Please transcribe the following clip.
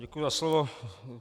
Děkuji za slovo.